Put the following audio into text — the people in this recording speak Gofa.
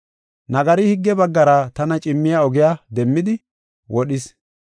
Nagari higge baggara tana cimmiya ogiya demmidi, wodhis.